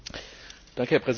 Herr Präsident!